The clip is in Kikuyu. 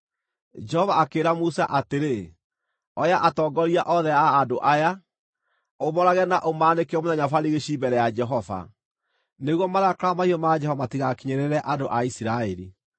Jehova akĩĩra Musa atĩrĩ, “Oya atongoria othe a andũ aya, ũmoorage na ũmaanĩke mũthenya barigici mbere ya Jehova, nĩguo marakara mahiũ ma Jehova matigakinyĩrĩre andũ a Isiraeli.”